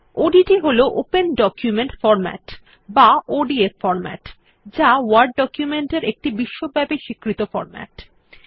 ODT হল open document format বা ODF format যা ওয়ার্ড ডকুমেন্ট এর একটি বিশ্বব্যাপী স্বীকৃত ফরম্যাট